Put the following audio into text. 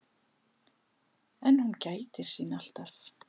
En hún gætir sín alltaf.